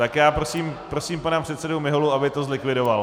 Tak já prosím pana předsedu Miholu, aby to zlikvidoval.